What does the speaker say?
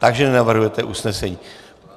Takže nenavrhujete usnesení.